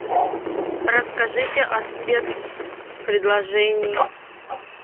расскажите о спец предложении